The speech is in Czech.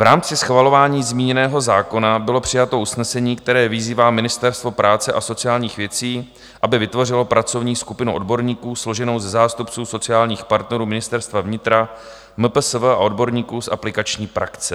V rámci schvalování zmíněného zákona bylo přijato usnesení, které vyzývá Ministerstvo práce a sociálních věcí, aby vytvořilo pracovní skupinu odborníků složenou ze zástupců sociálních partnerů Ministerstva vnitra, MPSV a odborníků z aplikační praxe.